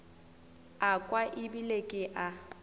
a kwa ebile ke a